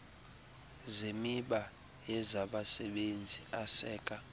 zemiba yezabasebenzi aseka